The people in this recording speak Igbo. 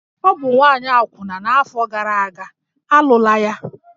Ọ bụ nwaanyị akwụna n'afọ gara aga, a lụla ya!